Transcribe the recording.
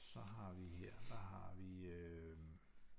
Så har vi her der har vi øh